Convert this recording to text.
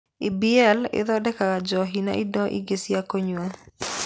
EABL ĩthondekaga njohi na indo ingĩ cia kũnyua.